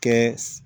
Kɛ